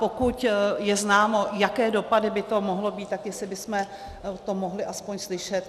Pokud je známo, jaké dopady by to mohlo mít, tak jestli bychom to mohli aspoň slyšet.